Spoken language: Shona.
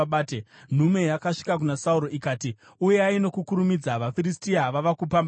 nhume yakasvika kuna Sauro, ikati, “Uyai nokukurumidza! VaFiristia vava kupamba nyika.”